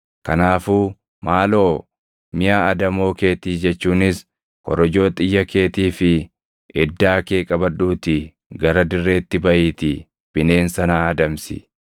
Kanaafuu maaloo miʼa adamoo keetii jechuunis korojoo xiyya keetii fi iddaa kee qabadhuutii gara dirreetti baʼiitii bineensa naa adamsi.